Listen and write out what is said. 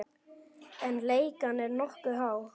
En leigan er nokkuð há.